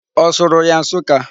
Ọ sụrụ ya Nsuka?